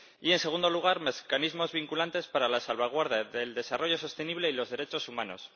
y, en segundo lugar, mecanismos vinculantes para la salvaguarda del desarrollo sostenible y los derechos humanos.